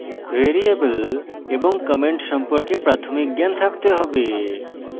variable এবং comments সম্পর্কে প্রাথমিক জ্ঞান থাকতে have